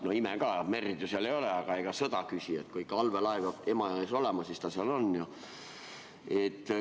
No mõni ime ka, merd ju seal ei ole, aga ega sõda küsi, kui ikka allveelaev peab Emajões olema, siis ta seal on.